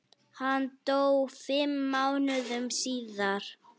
Hann dó fimm mánuðum síðar.